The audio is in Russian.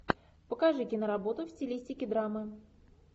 покажи киноработу в стилистике драмы